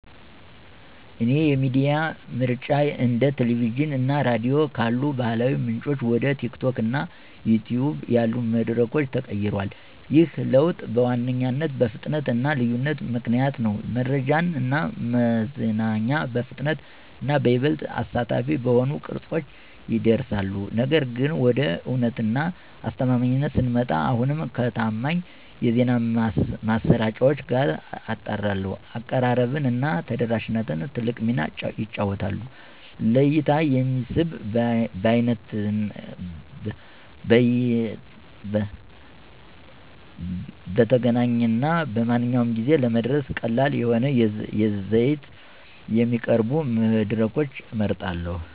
የእኔ የሚዲያ ምርጫ እንደ ቲቪ እና ራዲዮ ካሉ ባህላዊ ምንጮች ወደ TikTok እና YouTube ያሉ መድረኮች ተቀይሯል። ይህ ለውጥ በዋነኛነት በፍጥነት እና ልዩነት ምክንያት ነው—መረጃ እና መዝናኛ በፍጥነት እና ይበልጥ አሳታፊ በሆኑ ቅርጸቶች ይደርሳሉ። ነገር ግን፣ ወደ እውነት እና አስተማማኝነት ስንመጣ፣ አሁንም ከታማኝ የዜና ማሰራጫዎች ጋር አጣራለሁ። አቀራረብ እና ተደራሽነትም ትልቅ ሚና ይጫወታሉ; ለእይታ የሚስብ፣ በይነተገናኝ እና በማንኛውም ጊዜ ለመድረስ ቀላል የሆነ ይዘት የሚያቀርቡ መድረኮችን እመርጣለሁ።